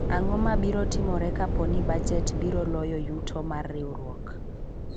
ang'o mabiro timore kapo ni bajet biro loyo yuto mar riwruok ?